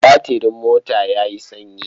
Batirin mota ya yi sanyi.